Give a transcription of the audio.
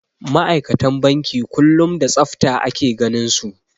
Ma'aikatan banki kullum da tsafta ake ganinsu.